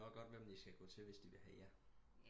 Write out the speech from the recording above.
De ved også godt hvem de skal gå til hvis de skal have ja